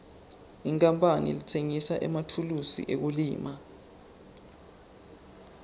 inkapani letsengisa emathulusi ekulima